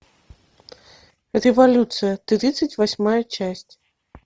революция тридцать восьмая часть